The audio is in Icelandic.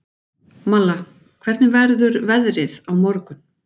Malla, hvernig verður veðrið á morgun?